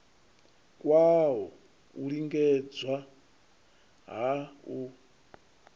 kwawo u lingedza ha u